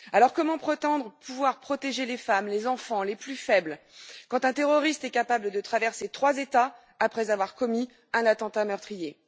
Comment prétendre pouvoir protéger les femmes, les enfants, les plus faibles, quand un terroriste est capable de traverser trois États après avoir commis un attentat meurtrier?